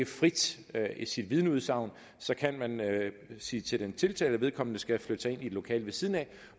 frit i sit vidneudsagn så kan man sige til den tiltalte at vedkommende skal flytte sig ind i et lokale siden af